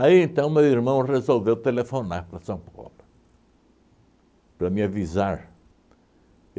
Aí, então, meu irmão resolveu telefonar para São Paulo para me avisar.